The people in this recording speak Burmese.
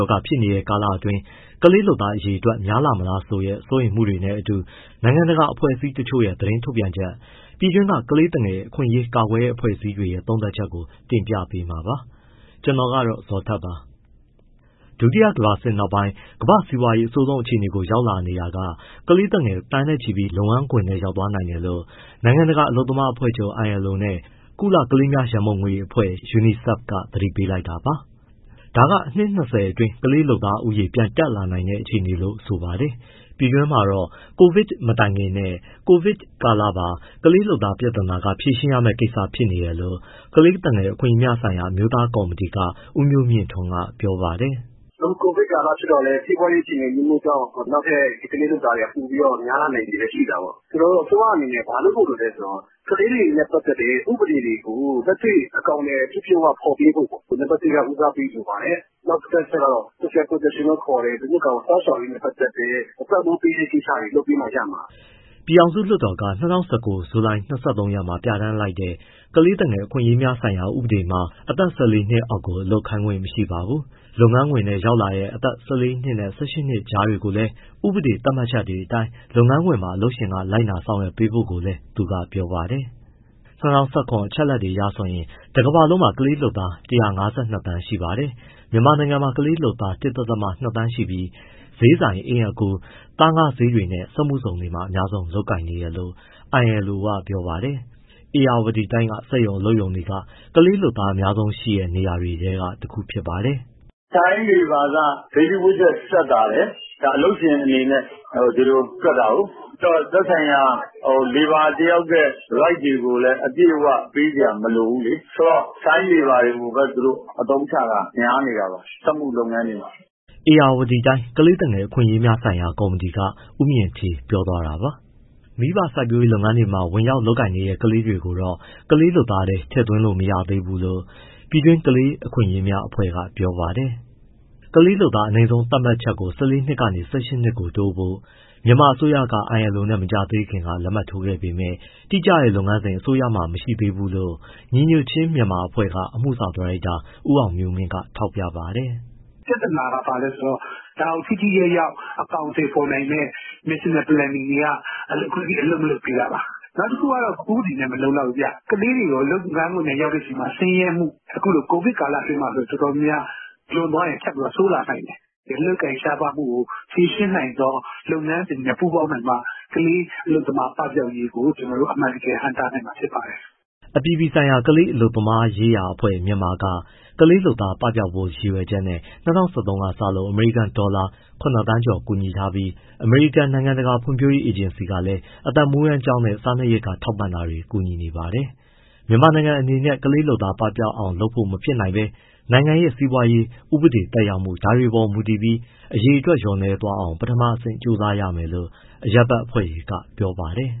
ောဂါဖြစ်နေတဲ့ အတောအတွင်း ကလေးလုပ်သားအရေအတွက် များလာမလားဆိုတဲ့ စိုးရိမ်မှုတွေနဲ့အတူ နိုင်ငံတကာအဖွဲ့အစည်းတချို့ သတင်းထုတ်ပြန်ချက်၊ ပြည်တွင်းက ကလေးသူငယ်အခွင့်အရေး ကာကွယ်တဲ့အဖွဲ့အစည်းတွေရဲ့ သုံးသပ်ချက်ကို ဗွီအိုအေသတင်းထောက် ကိုဇာ်ထက်က တင်ပြပေးပါမယ်။ ဒုတိယကမ္ဘာစစ်နောက်ပိုင်း ကမ္ဘာ့စီးပွားရေး အဆိုးဆုံးအခြေအနေကို ရောက်နေတာက ကလေးသူငယ် သန်းနဲ့ချီပြီး လုပ်ငန်းခွင်ထဲ ရောက်သွားနိုင်တယ်လို့ နိုင်ငံတကာအလုပ်သမားအဖွဲ့ချုပ် ILO နဲ့ ကုလကလေးများရန်ပုံငွေအဖွဲ့ UNICEF က သတိပေးလိုက်တာပါ။ ဒါက အနှစ် ၂၀ အတွင်း ကလေးလုပ်သားဦးရေ ပြန်တက်လာနိုင်တဲ့ အခြေအနေလို့ ဆိုပါတယ်။ ပြည်တွင်းမှာတော့ COVID မတိုင်ခင်နဲ့ COVID ကာလပါ ကလေးလုပ်သား ပြဿနာက ဖြေရှင်းရမယ့် ကိစ္စဖြစ်နေတယ်လို့ ကလေးသူငယ် အခွင့်အရေးများဆိုင်ရာ အမျိုးသားကော်မတီက ဦးမျိုးမြင့်ထွန်းက ပြောပါတယ်။ “အခု COVID ကာလဖြစ်တော့လည်း စီးပွားရေးအခြေအနေ အမျိုးမျိုးကြောင့် နောက်ထပ် ကလေးလုပ်သားတွေက ပိုပြီးများလာနိုင်ခြေလည်း ရှိတာပေါ့။ ဆိုတော့ အစိုးရအနေနဲ့ ဘာလုပ်ဖို့လိုလဲဆိုတော့ ကလေးတွေနဲ့ ပတ်သက်တဲ့ ဥပဒေတွေကို လက်တွေ့အကောင်အထည် ပြည့်ပြည့်ဝဝ ဖော်ပေးဖို့ပေါ့ နံပတ်တစ် ဦးစားပေးလိုပါတယ်။ နောက် ဒုတိယအချက်ကတော့ social protection လို့ခေါ်တဲ့ လူမှုကာကွယ် စောင့်ရှောက်ရေးနဲ့ ပတ်သက်တဲ့ ပံ့ပိုးပေးတဲ့ ကိစ္စတွေ လုပ်ပေးမှရမှာ။” ပြည်ထောင်စု လွှတ်တော်က ၂၀၁၉ ဇူလိုင် ၂၃ မှာပြဋ္ဌာန်းလိုက်တဲ့ ကလေးသူငယ် အခွင့်အရေးများဆိုင်ရာ ဥပဒေမှာ အသက် ၁၄ နှစ်အောက်ကို အလုပ်ခိုင်းခွင့် မရှိပါဘူး။ လုပ်ငန်းခွင်ထဲရောက်လာတဲ့ ၁၄ နှစ်နဲ့ ၁၈ နှစ်ကြားတွေကိုလည်း ဥပဒေသတ်မှတ်ချက်တွေအတိုင်း လုပ်ငန်းခွင်မှာ လုပ်ငန်းရှင်က လိုက်နာ၊ ဆောင်ရွက်ပေးဖို့လည်း သူကပြောပါတယ်။ ၂၀၁၇ အချက်အလက်အရဆိုရင် တကမ္ဘာလုံးမှာ ကလေးလုပ်သား ၁၅၂ သန်း ရှိပါတယ်။ မြန်မာနိုင်ငံမှာ ကလေးလုပ်သား ၁.၂ သန်းရှိပြီး ဈေးဆိုင်၊ အိမ်အကူ၊ သားငါးဈေးတွေနဲ့ စက်မှုဇုန်တွေမှာ အများဆုံးလုပ်ကိုင်နေတယ်လို့ ILO ကပြောပါတယ်။ ဧရာဝတီတိုင်းက စက်ရုံအလုပ်ရုံတွေက ကလေးလုပ်သား အများဆုံးရှိတဲ့ နေရာတွေထဲက တခုပါ။ “Child Labour က daily wages သက်သာတယ်။ ဒါအလုပ်ရှင်အနေနဲ့ ဒါ ဒီလိုတွက်တာကိုး။ သက်ဆိုင်ရာ labour တယောက်ရဲ့ right တွေကိုလည်းအပြည့်အဝ ပေးစရာ မလိုဘူးလေ။ ဆိုတော့ child labour တွေကိုလည်း အသုံးချတာ များနေတာပါ စက်မှုလုပ်ငန်းတွေမှာ။” ဧရာဝတီတိုင်း ကလေးသူငယ်အခွင့်အရေးများဆိုင်ရာ ကော်မတီက ဦးမြင့်ဌေး ပြောသွားတာပါ။ မိဘစိုက်ပျိုးရေးလုပ်ငန်းတွေမှာ ဝင်လုပ်ကိုင်နေတဲ့ ကလေးတွေကိုတော့ ကလေးအလုပ်သမားထဲ ထည့်သွင်းလို့မရဘူးလို့ ပြည်တွင်း ကလေးအခွင့်အရေးအဖွဲ့တွေက ပြောပါတယ်။ ကလေးလုပ်သား အနိမ့်ဆုံးအသက် သတ်မှတ်ချက်ကို ၁၄ နှစ်ကနေ ၁၈ ကို တိုးဖို့ မြန်မာအစိုးရက ILO နဲ့ မကြာသေးခင်က လက်မှတ်ထိုးခဲ့ပေမဲ့ တိကျတဲ့ လုပ်ငန်းစဉ် အစိုးရမှာ မရှိသေးဘူးလို့ ညီညွှတ်ခြင်း မြန်မာအဖွဲ့အမှုဆောင် ဒါရိုက်တာ ဦးအောင်မျိုးမင်းက ထောက်ပြပါတယ်။ “ပြဿနာက ဘာလဲဆိုတော့ ဒါကိုထိထိရောက်ရောက် အကောင်အထည်ဖော်နိုင်မယ့် national plan တွေက အခုထိ အလုပ်မလုပ်သေးတာပါ။ နောက်တခုက ဥပဒေနဲ့ မလုံလောက်ဘူးဗျ၊ ကလေးတွေ လုပ်ငန်းခွင်ထဲရောက်တဲ့အခါမှာ ဆင်းရဲမှု အခုလို COVID ကာလအတွင်းမှာ အတော်များများ လွန်သွားရင် ဆိုးလာနိုင်တယ်။ အလုပ်အကိုင် ရှားပါးမှုကို ဖြေရှင်းနိုင်သော လုပ်ငန်းစဉ်နဲ့ ပူးပေါင်းနိုင်မှ ကလေးလုပ်သား ပပျောက်ရေးကို ကျနော်တို့ အမှန်တကယ် ဟန့်တားနိုင်မှာ ဖြစ်ပါတယ်။” အပြည်ပြည်ဆိုင်ရာ ကလေးအလုပ်သမားရေးရာအဖွဲ့ က ကလေးလုပ်သားပပျောက်ဖို့ ရည်ရွယ်ချက်နဲ့ ၂၀၁၃ လောက်ကစလို့ အမေရိကန်ဒေါ်လာ ၇,၀၀၀,၀၀၀ ကျော်ကူညီထားပြီး အမေရိကန်နိုင်ငံတကာ ဖွံ့ဖြိုးရေး အေဂျင်စီကလည်း အသက်မွေးဝမ်းကျောင်းနဲ့ စားနပ်ရိက္ခာ ထောက်ပံ့တာတွေ ကူညီနေပါတယ်။ မြန်မာနိုင်ငံအနေနဲ့ ကလေးလုပ်သားကို ပပျောက်အောင်လုပ်ဖို့ မဖြစ်နိုင်ဘဲ နိုင်ငံရဲ့ စီးပွားရေး၊ ဥပဒေသက်ရောက်မှု ဒါတွေပေါ်မူတည်ပြီး အရေအတွက် လျော့သွားအောင် ပထမအဆင့် ကြိုးစားရမယ်လို့ အရပ်ဘက်အဖွဲ့တွေက ပြောပါတယ်